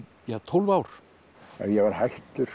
tólf ár ég var hættur